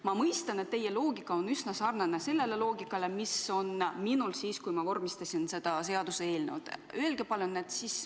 Ma mõistan, et teie loogika on üsna sarnane selle loogikaga, mis oli minul siis, kui ma vormistasin seda seaduseelnõu.